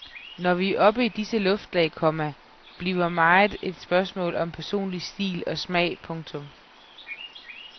Når vi er oppe i disse luftlag, komma bliver meget et spørgsmål om personlig stil og smag. punktum